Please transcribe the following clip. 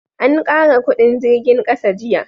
an kara kudin jirgin ƙasa jiya